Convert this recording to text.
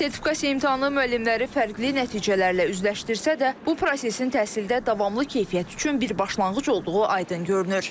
Sertifikasiya imtahanı müəllimləri fərqli nəticələrlə üzləşdirsə də, bu prosesin təhsildə davamlı keyfiyyət üçün bir başlanğıc olduğu aydın görünür.